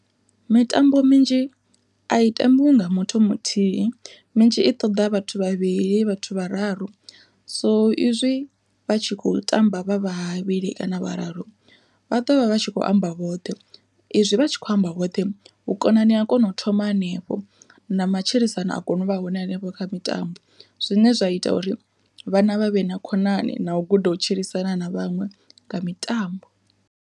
Mitambo minzhi a i tambiwi nga muthu muthihi, minzhi i ṱoḓa vhathu vhavhili vhathu vhararu so izwi vha tshi kho tamba vha vhavhili kana vhararu vha ḓovha vha tshi kho amba vhoṱhe, izwi vha tshi kho amba vhoṱhe vhukonani ha kona u thoma hanefho na matshilisano a kona u vha hone hanefho kha mitambo, zwine zwa ita uri vhana vha vhe na khonani na u guda u tshilisana na vhaṅwe nga mitambo.